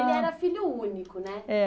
Ele era filho único, né? É